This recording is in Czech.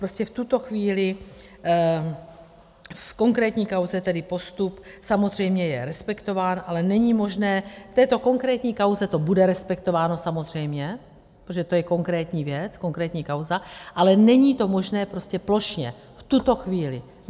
Prostě v tuto chvíli v konkrétní kauze tedy postup samozřejmě je respektován, ale není možné - v této konkrétní kauze to bude respektováno samozřejmě, protože to je konkrétní věc, konkrétní kauza, ale není to možné prostě plošně, v tuto chvíli.